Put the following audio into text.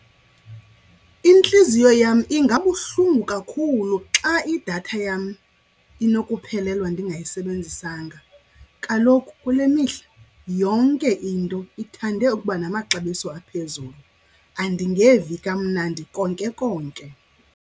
Intliziyo yam ingabuhlungu kakhulu xa idatha yam inokuphelelwa ndingayisebenzisanga. Kaloku kule mihla yonke into ithande ukuba namaxabiso aphezulu, andingevi kamnandi konke konke.